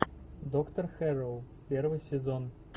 доктор хэрроу первый сезон